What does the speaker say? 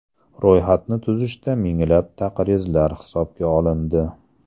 Ro‘yxatni tuzishda minglab taqrizlar hisobga olindi.